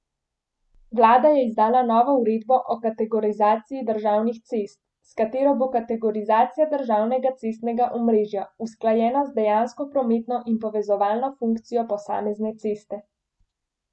Vlada je izdala novo uredbo o kategorizaciji državnih cest, s katero bo kategorizacija državnega cestnega omrežja usklajena z dejansko prometno in povezovalno funkcijo posamezne ceste.